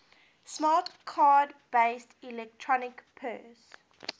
smart card based electronic purse